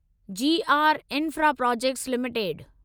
ji R infraprojects limited